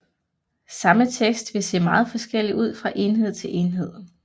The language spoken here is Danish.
Samme tekst vil se meget forskellig ud fra enhed til enhed